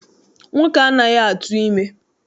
Nwoke anaghị atụ ime.